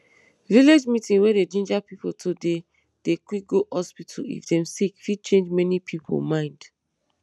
village meeting wey dey ginger pipo to dey dey quick go hospital if dem sick fit change many pipo mind